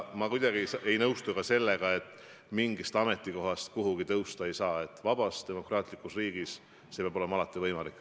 Ma kuidagi ei nõustu ka sellega, et mingilt ametikohalt kuhugi kõrgemale tõusta ei saa, vabas demokraatlikus riigis peab see olema alati võimalik.